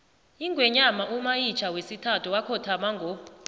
ingwenyama umayitjha wesithathu wakhothama ngo